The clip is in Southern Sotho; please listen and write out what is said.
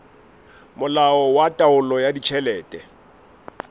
molao wa taolo ya ditjhelete